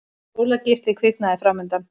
Sólargeisli kviknaði framundan.